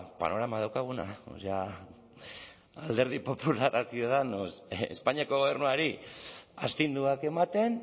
panorama daukaguna o sea alderdi popularra ciudadanos espainiako gobernuari astinduak ematen